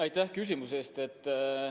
Aitäh küsimuse eest!